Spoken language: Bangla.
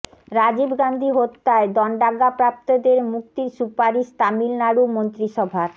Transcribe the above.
রাজীব গান্ধী হত্যায় দণ্ডাজ্ঞাপ্রাপ্তদের মুক্তির সুপারিশ তামিল নাড়ু মন্ত্রিসভার